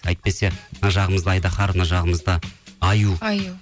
әйтпесе мына жағымызда айдаһар мына жағымызда аю аю